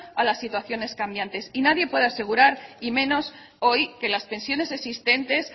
a las situaciones cambiantes y nadie puede asegurar y menos hoy que las pensiones existentes